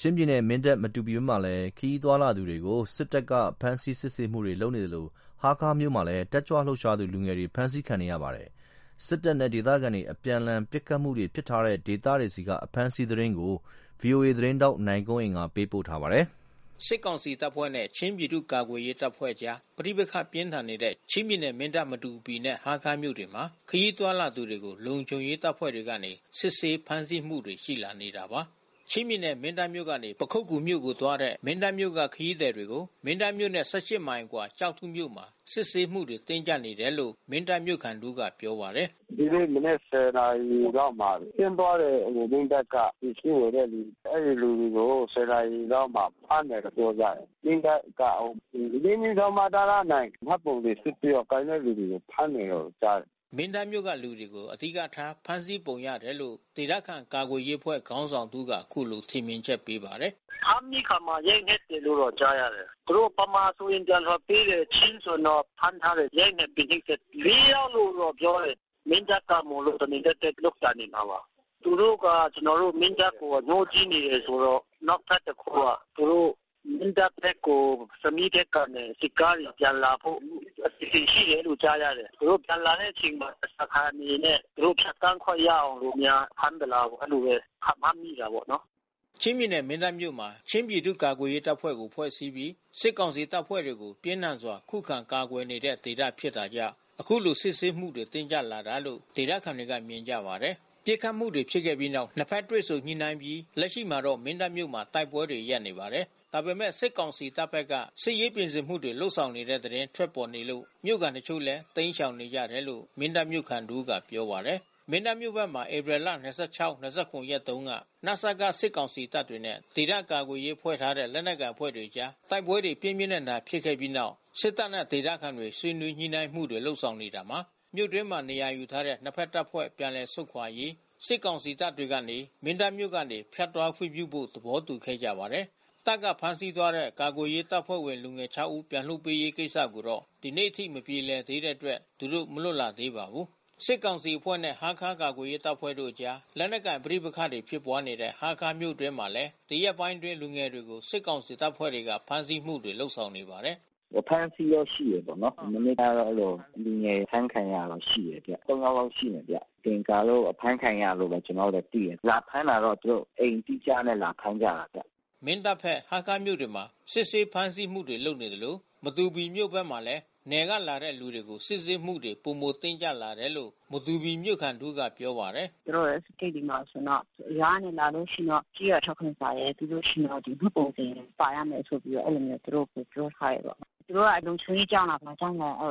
ချင်းပြည်နယ်၊ မင်းတပ်၊ မတူပီဘက်မှာ ခရီးသွားလာတဲ့သူတွေကို စစ်တပ်က စစ်ဆေးဖမ်းဆီးမှုတွေလုပ်နေသလို ဟားခါးမြို့မှာလဲ တက်ကြွလှုပ်ရှားသူ လူငယ်တွေ ဖမ်းဆီးခံရပါတယ်။ စစ်တပ်နဲ့ ဒေသခံလုံခြုံရေးအဖွဲ့တွေ အပြန်အလှန်ပစ်ခတ်မှုတွေ ဖြစ်ထားတဲ့ဒေသတွေက အဖမ်းအဆီးသတင်းကို ဗွီအိုအေသတင်းထောက် နိုင်ကွန်း အိန်ကနေ သတင်းပေးပို့ထားပါတယ်။ စစ်ကောင်စီတပ်ဖွဲ့နဲ့ ချင်းပြည်သူ့ ကာကွယ်ရေးတပ်ဖွဲ့အကြား ပဋိပက္ခပြင်းထန်နေတဲ့ ချင်းပြည်နယ် မင်းတပ်၊ မတူပီ နဲ့ဟားခါးမြို့တွေမှာ ခရီးသွားလာသူတွေကို လုံခြုံရေးတပ်ဖွဲ့တွေကနေ စစ်ဆေးဖမ်းဆီးမှုတွေရှိလာနေတာပါ။ ချင်းပြည်နယ်၊ မင်းတပ်မြို့ကနေ ပခုက္ကူမြို့နယ်ကိုသွားတဲ့ မင်းတပ်မြို့က ခရီးသည်တွေကို မင်းတပ်မြို့နဲ့ မိုင် အကွာ ကျောက်ထုမြို့မှာ စစ်ဆေးမှုတွေတင်းကြပ်နေတယ်လို့ မင်းတပ်မြို့ ခံတဦးကပြောပါတယ်။ “သူတို့မနက် နာရီလောက်မှာ ဆင်းသွားတဲ့ မင်းတပ်ကပစ္စည်းဝယ်တဲ့လူ။ အဲဒီလူတွေကို နာရီလောက်မှာ ဖမ်းတယ်လို့ပြောကြတယ်။ မင်းတပ်က ၄/မတန မှတ်ပုံတင်စစ်ဆေးတော့ ကိုင်တဲ့သူတွေကို ဖမ်းတယ်လို့ကြားတယ်။” မင်းတပ်မြို့က လူတွေကို အဓိကထား ဖမ်းဆီးပုံရတယ်လို့ ဒေသခံကာကွယ်ရေးအဖွဲ့ခေါင်းဆောင်တဦးက အခုလို ထင်မြင်ချက်ပေးပါတယ်။ “ ဖမ်းပြီးအခါမှာ ရိုက်နှက်တယ်လို့ကြားရတယ်။ သူတို့ဗမာဆိုရင် ပြန်လွှတ်ပေးတယ်။ ချင်းဆိုရင်တော့ ဖမ်းထားတယ်။ ရိုက်နှက်ပြီး နှိပ်စက်တယ်။ ယောက်လို့တော့ပြောတယ်။ မင်းတပ်က မို့လို့ တမင်သက်သက်လုပ်တာနေမှာပါ။ သူတို့က ကျွန်တော်တို့ မင်းတပ်ကိုအငြိုးကြီးနေတယ်ဆိုတော့။ နောက်ထပ်တခုက သူတို့ မင်းတပ်ဖက်ကို ဆမီးဖက် ကနေ စစ်ကားတွေပြန်လာဖို့ အစီစဉ်ရှိတယ်လို့ကြားရတယ်။ သူတို့ပြန်လာတဲ့အချိန်မှာ ဓားစာခံအနေနဲ့ သူတို့ဖြတ် သန်းခွင့်ရအောင်လို့ များဖမ်းသလားပေါ့ အဲဒီလိုဘဲ ခန့်မှန်းတာပေါ့နော်။” ချင်းပြည်နယ်၊ မင်းတပ်မြို့မွာ ချင်းပြည်သူ့ ကာကွယ်ရေးတပ်ဖွဲ့ ဖွဲ့စည်းပြီး စစ်ကောင်စီတပ်ဖွဲ့တွေကို ပြင်းထန်စွာ ခုခံ ကာကွယ်နေတဲ့ဒေသ ဖြစ်တာကြောင့် အခုလို စစ်ဆေးမှုတွေတင်းကြပ်တာလို့ ဒေသခံတွေက မြင်ကြပါတယ်။ ပစ်ခတ်မှုတွေဖြစ်ခဲ့ပြီးနောက် ၂ ဘက် တွေ့ဆုံညှိနှိုင်းအပြီး လက်ရှိမှာတော့ မင်းတပ်မြို့မှာ တိုက်ပွဲတွေ ရပ်နေပါတယ်။ ဒါပေမဲ့ စစ်ကောင်စီတပ်ဖက်က စစ်ရေးပြင်ဆင်မှုတွေ လုပ်ဆောင်နေတဲ့ သတင်းထွက်ပေါ်နေလို့ မြို့ခံတချို့လည်း တိမ်းရှောင် နေကြတယ်လို့ မင်းတပ်မြို့ခံတဦးကပြောပါတယ်။ မင်းတပ်မြို့ဖက်မှာ ဧပြီလ ရက်တုန်းက နစက စစ်ကောင်စီတပ်တွေနဲ့ ဒေသကာကွယ်ရေးဖွဲ့ ထားတဲ့ လက်နက်ကိုင်အဖွဲ့တွေကြား တိုက်ပွဲတွေ ပြင်းပြင်းထန်ထန် ဖြစ်ခဲ့ပြီးနောက် စစ်တပ်နဲ့ ဒေသခံတွေ ဆွေးနွေး ညှိုနှိုင်းမှုတွေ လုပ်နေတာမှာ မြို့တွင်းမှာနေရာယူထားတဲ့ နှစ်ဖက်တပ်ဖွဲ့ ျပန်လည်ဆုတ်ခွာရေး စစ်ကောင်စီတပ်တွေ ကနေ မင်းတပ်မြို့ကနေဖြတ်သွားခွင့် ပြုဖို့ သဘောတူခဲ့ကြပါတယ်။ တပ်ကဖမ်းဆီးသွားတဲ့ ကာကွယ်ရေးတပ်ဖွဲ့ ဝင် လူငယ် ဦးပြန်လွှတ်ပေးရေးကိစ္စကိုတော့ ဒီနေ့အထိ မပြေလည်သေးတဲ့အတွက် သူတို့ မလွတ်လာသေးပါဘူး။ စစ်ကောင်စီတပ်ဖွဲ့နဲ့ ဟားခါးမြို့ကာကွယ်ရေးတပ်ဖွဲ့အကြား လက်နက်ကိုင်ပဋိပက္ခဖြစ်ပွါးနေတဲ့ ဟားခါးမြို့အတွင်းမှာလဲ ဒီရက်ပိုင်းတွေအတွင်း လူငယ်တွေကို စစ်ကောင်စီတပ်ဖွဲ့တွေက ဖမ်းဆီးမှုတွေရှိနေပါတယ်။ “အဖမ်းဆီးတော့ ရှိတယ်ပေါ့နော်။ မနေ့ကတော့အဲဒီလို လူငယ် အဖမ်းခံရတာတော့ရှိတယ်။ ယောက်လာက်ရှိမယ်ဗျ။ မသင်္ကာလို့ ဖမ်းခံရတာလို့ဘဲကျွန်တော်တို့တော့သိတယ်။ လာဖမ်းတာတော့သူတို့အိမ်အတိအကျနဲ့ လာဖမ်းကြတာဗျ။” မင်းတပ်ဖက်၊ ဟားခါးမြို့တွေမှာ စစ်ဆေးဖမ်းဆီးမှုတွေ လုပ်နေသလို မတူပီမြို့ဘက်မှာလဲ နယ်ကလာတဲ့သူတွေကို စစ်ဆေးမှုတွေ ပိုမိုတင်းကြပ်လာတယ်လို့ မတူပီမြို့ခံတဦး က ပြောပါတယ်။ “သူတို့ဂိတ်တွေမှာဆိုရင်တော့ ရွာကနေလာလို့ရှိရင်ဆိုရင်တော့ ကျေးရွာထောက်ခံစာရယ် ပြီးလို့ရှိရင် မှတ်ပုံတင် ပါရ မယ်ဆိုပြီးတော့ အဲဒီလိုမျိုးသူတို့ပြောထားတယ်ပေါ့။ သူတို့က လုံခြုံရေးကြောင့်လား ဘာကြောင့်လဲ အ